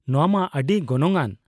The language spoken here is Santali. ᱱᱚᱶᱟ ᱢᱟ ᱟᱹᱰᱤ ᱜᱚᱱᱚᱝᱼᱟᱱ ᱾